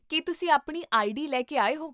ਕੀ ਤੁਸੀਂ ਆਪਣੀ ਆਈਡੀ ਲੈ ਕੇ ਆਏ ਹੋ?